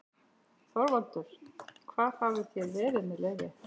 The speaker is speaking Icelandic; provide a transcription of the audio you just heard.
ÞORVALDUR: Hvar hafið þér verið- með leyfi?